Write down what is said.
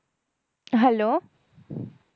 Hello